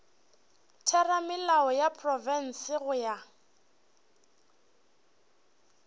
theramelao ya profense go ya